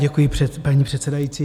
Děkuji, paní předsedající.